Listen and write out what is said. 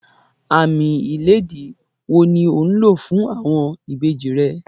Àámì ilẹ̀dìí wò ni ò ńlọ̀ fún awọn ìbèjì rẹ̀?